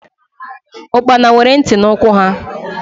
Ahịhịa nwere ntị na ụkwụ ha.